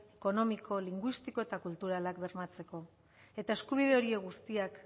ekonomiko linguistiko eta kulturalak bermatzeko eta eskubide horiek guztiak